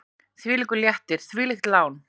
Hvílíkur léttir, hvílíkt lán!